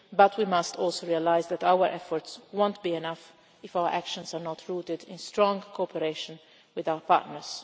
change. But we must also realise that our efforts will not be enough if our actions are not rooted in strong cooperation with our partners.